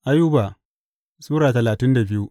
Ayuba Sura talatin da biyu